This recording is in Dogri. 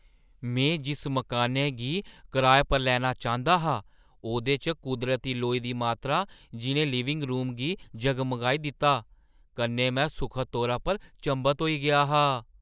में जिस मकानै गी कराए पर लैना चांह्‌दा हा, ओह्‌दे च कुदरती लोई दी मात्तरा, जिन लिविंग रूम गी जगमगाई दित्ता, कन्नै में सुखद तौरा पर चंभत होई गेआ हा।